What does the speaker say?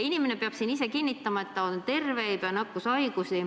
Inimene peab siin ise kinnitama, et ta on terve, ei põe nakkushaigusi.